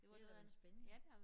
Det lyder da spændende